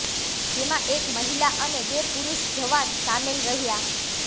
જેમાં એક મહિલા અને બે પુરૂષ જવાન સામેલ રહ્યા